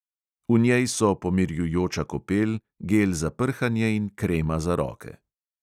V njej so pomirjujoča kopel, gel za prhanje in krema za roke.